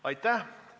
Aitäh!